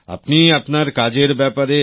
আপনি আপনার কাজের ব্যাপারে